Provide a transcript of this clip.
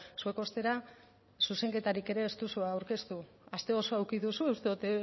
zuek ostera zuzenketarik ere ez duzue aurkeztu aste osoa eduki duzue uste dut